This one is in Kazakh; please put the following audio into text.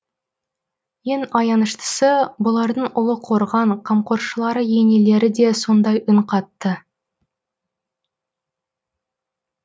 ең аяныштысы бұлардың ұлы қорған қамқоршылары енелері де сондай үн қатты